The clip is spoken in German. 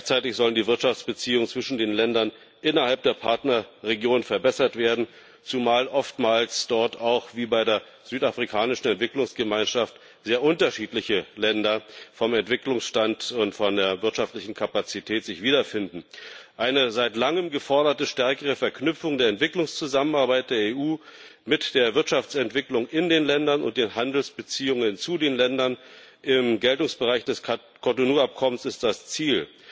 Gleichzeitig sollen die Wirtschaftsbeziehungen zwischen den Ländern innerhalb der Partnerregion verbessert werden, zumal sich dort oftmals wie auch bei der südafrikanischen Entwicklungsgemeinschaft vom Entwicklungsstand und von der wirtschaftlichen Kapazität her sehr unterschiedliche Länder wiederfinden. Eine seit langem geforderte stärkere Verknüpfung der Entwicklungszusammenarbeit der EU mit der Wirtschaftsentwicklung in den Ländern und den Handelsbeziehungen zu den Ländern im Geltungsbereich des Cotonou-Abkommens ist das Ziel.